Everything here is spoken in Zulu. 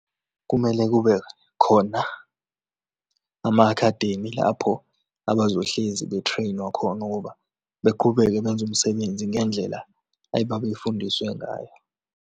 Kumele kube khona ama-academy lapho abazohlezi be-train-wa khona ukuba beqhubeke benze umsebenzi ngendlela ay'babeyifundiswe ngayo.